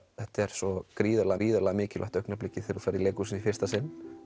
þetta er svo gríðarlega gríðarlega mikilvægt augnablik þegar þú ferð í leikhús í fyrsta sinn